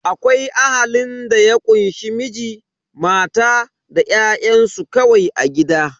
Akwai Ahalin da ya kunshe Miji, mata da ƴa'ƴansu kawai a gida.